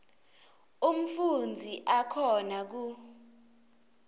umfundzi akhona ku